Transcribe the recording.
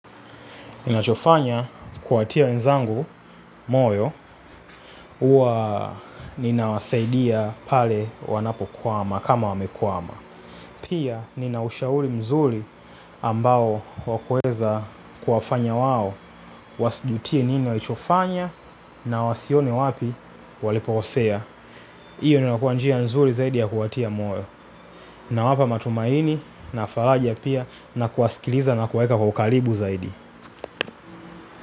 Ninachofanya kuwatia wenzangu moyo uwa ninawasaidia pale wanapo kwama kama wamekwama. Pia ninaushauli mzuri ambao wakueza kuwafanya wao wasijutie nini walichofanya na wasione wapi walipoosea. Iyo ndio inakuwa njia nzuri zaidi ya kuwatia moyo. Na wapa matumaini na faraja pia na kuwasikiliza na kuwaeka kwa ukalibu zaidi.